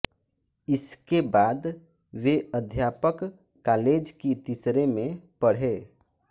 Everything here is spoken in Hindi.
इसके बाद वे अध्यापक कालेज की तीसरे में पढ़े